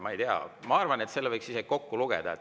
Ma arvan, et võiks isegi kokku lugeda.